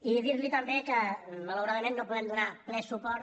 i dir li també que malauradament no hi podem donar ple suport